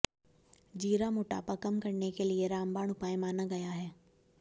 जीरा मोटापा कम करने के लिए रामबाण उपाय माना गया है